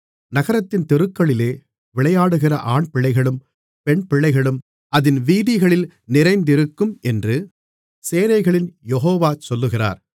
நகரத்தின் தெருக்களிலே விளையாடுகிற ஆண்பிள்ளைகளும் பெண்பிள்ளைகளும் அதின் வீதிகளில் நிறைந்திருக்கும் என்று சேனைகளின் யெகோவா சொல்லுகிறார்